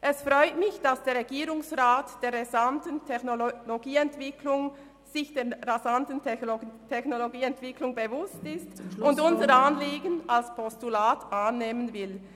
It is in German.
Es freut mich, dass der Regierungsrat sich der rasanten Technologieentwicklung bewusst ist und unser Anliegen als Postulat annehmen will.